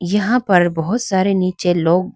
यहां पर बहुत सारे नीचे लोगहै--